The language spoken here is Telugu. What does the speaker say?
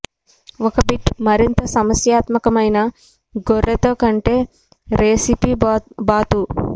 ఒక బిట్ మరింత సమస్యాత్మకమైన గొర్రె తో కంటే రెసిపీ బాతు